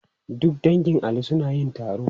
Duk dangin Ali suna yin taro.